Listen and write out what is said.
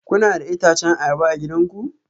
Kuna da itacen ayaba a gidanku?